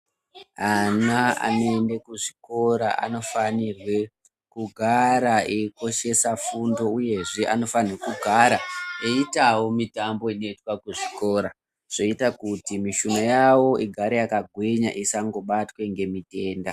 Ana aneende kuzvikora anofanirwe kugara eikoshwsa fundo uye anofanira kugara eitawo mutambo inoitwa kuzvikora zvoite kuti mushuna yawo igare yakagwinya isangobatwe ngemitenda.